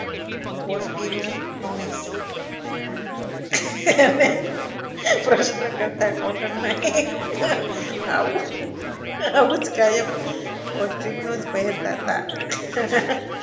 બોસકીનું ખમીજ અને પ્રશ્ન કરતા કોટનના આવું આવું જ કાયમ કોટનનું જ પહેરતા હતા.